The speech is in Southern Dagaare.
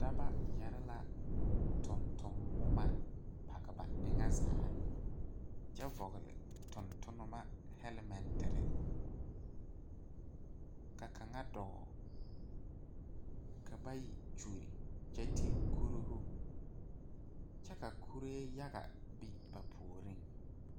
Daba yɛrre la tonton bomma page ba eŋa zaa kyɛ vɔgle tontonnema hɛlmɛnterre ka kaŋa dɔɔ ka bayi kyulli kyɛ te kuruuhu kyɛ ka kuree yaga biŋ ba puoriŋ.